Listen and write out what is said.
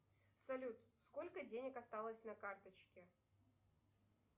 салют сколько денег осталось на карточке